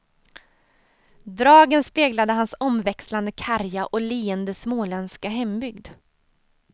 Dragen speglade hans omväxlande karga och leende småländska hembygd.